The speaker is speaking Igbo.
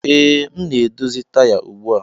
Ee, m na-edozi taya ugbu a